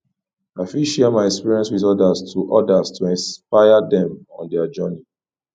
i fit share my experiences with others to others to inspire dem on their journey